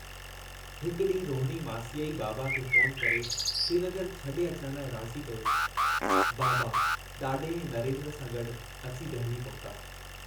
हिक ॾींहुं रोहणी मासीअ ई बाबा खे फ़ोन करे श्रीनगर छॾे अचण लाइ राज़ी कयो बाबा ॾाॾे ऐं नरेन्द्र सां गॾु अची दहलीअ पहुता।